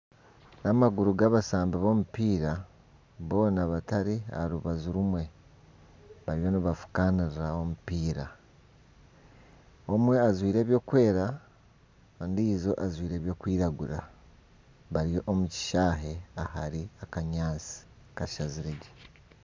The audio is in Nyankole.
Amaguru gabasambi b'omupiira boona batari aha rubaju rumwe ,bariyo nibafukanira omupiira ,omwe ajwaire ebyokweera ondiijo ajwaire ebyokwiragura bari omu kishaayi ahari akanyatsi kashazire gye.